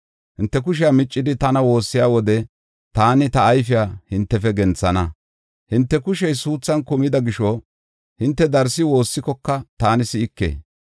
Hinte kushe miccidi tana woossiya wode taani ta ayfiya hintefe genthana. Hinte kushey suuthan kumida gisho hinte darsi woossikoka taani si7ike.